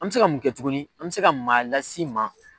An mɛ se ka mun kɛ tuguni an mɛ se ka maa las'i ma.